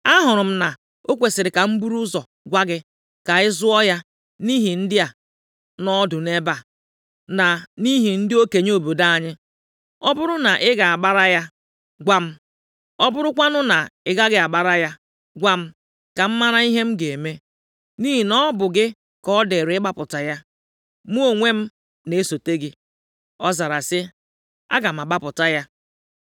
Ahụrụ m na o kwesiri ka m buru ụzọ gwa gị ka ị zụọ ya nʼihu ndị a nọ ọdụ nʼebe a, na nʼihu ndị okenye obodo anyị. Ọ bụrụ na ị ga-agbara ya, gwa m, ọ bụrụkwanụ na ị gaghị agbara ya, gwa m, ka m mara ihe m ga-eme. Nʼihi na ọ bụ gị ka ọ dịrị ịgbapụta ya. Mụ onwe m na-esote gị.” Ọ zara sị, “Aga m agbapụta ya.”